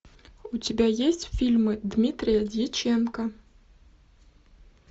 у тебя есть фильмы дмитрия дьяченко